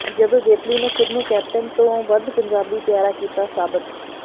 ਜਦੋਂ ਜੇਤਲੀ ਨੇ ਖ਼ੁਦ ਨੂੰ ਕੈਪਟਨ ਤੋਂ ਵੱਧ ਪੰਜਾਬੀ ਪਿਆਰਾ ਕੀਤਾ ਸਾਬਤ